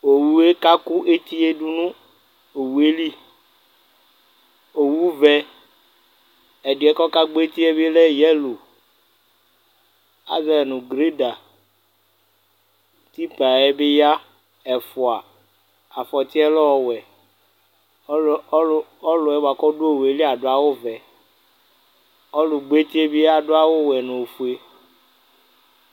owue kaku étiédunu owueli owuʋɛ ɛdiɛ kagbɔ étié bilɛ yelo azuɛnu gruɖa tipayɛ bi ya ɛfua afɔtiɛ lɔwɛ ɔluɔluɔluɛ buaku ɔdu owueli adu awuvɛ ɔlugbɔeti biaɖu awuvɛ nofue